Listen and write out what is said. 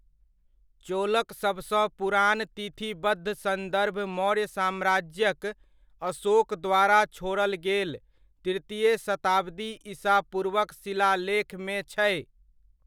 चोलक सभसँ पुरान तिथिबद्ध सन्दर्भ मौर्य साम्राज्यक अशोक द्वारा छोड़ल गेल तृतीय शताब्दी ईसा पूर्वक शिलालेखमे छै।